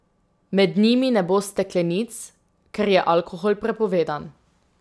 Med njimi ne bo steklenic, ker je alkohol prepovedan.